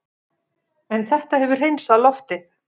En þetta hefur hreinsað loftið